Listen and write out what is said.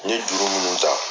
N ye juru munnu ta